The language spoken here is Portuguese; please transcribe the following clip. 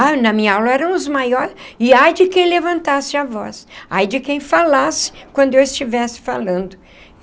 Ah, na minha aula eram os maiores, e ai de quem levantasse a voz, ai de quem falasse quando eu estivesse falando.